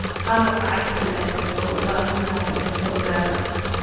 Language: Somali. Qalabka casriga ahi waxa uu u baahan karaa xirfado gaar ah.